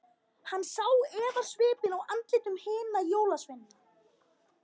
Hann sá efasvipinn á andlitum hinna jólasveinana.